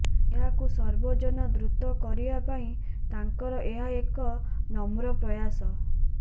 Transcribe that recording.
ଏହାକୁ ସର୍ବଜନାଦୃତ କରିବା ପାଇଁ ତାଙ୍କର ଏହା ଏକ ନମ୍ର ପ୍ରୟାସ